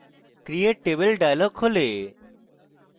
create table dialog খোলে